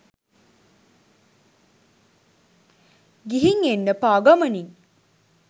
ගිහින් එන්න පා ගමනින්